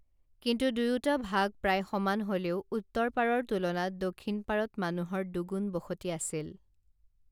কিন্তু দুয়োটা ভাগ প্ৰায় সমান হলেও উত্তৰপাৰৰ তুলনাত দক্ষিণপাৰত মানুহৰ দুগুণ বসতি আছিল